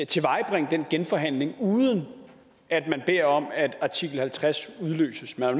tilvejebringe den genforhandling uden at om at artikel halvtreds udløses man er